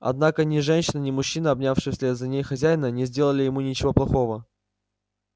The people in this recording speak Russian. однако ни женщина ни мужчина обнявший вслед за ней хозяина не сделали ему ничего плохого